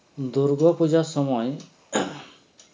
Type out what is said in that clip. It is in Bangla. দুর্গোপূজার সময়